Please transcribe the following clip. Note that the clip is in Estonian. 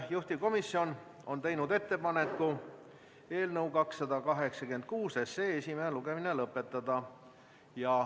Juhtivkomisjon on teinud ettepaneku eelnõu 286 esimene lugemine lõpetada.